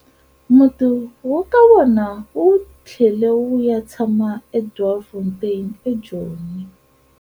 Muti wa ka vona wu tlhele wu ya tshama eDoornfontein eJoni.